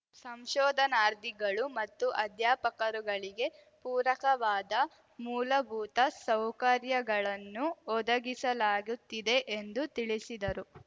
ಸಂಶೋಧನಾರ್ಧಿಗಳು ಮತ್ತು ಅಧ್ಯಾಪಕರುಗಳಿಗೆ ಪೂರಕವಾದ ಮೂಲಭೂತ ಸೌಕರ್ಯಗಳನ್ನು ಒದಗಿಸಲಾಗುತ್ತಿದೆ ಎಂದು ತಿಳಿಸಿದರು